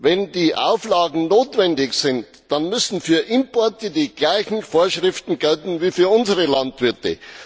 Wenn die Auflagen notwendig sind, dann müssen für Importe die gleichen Vorschriften gelten wie für unsere Landwirte.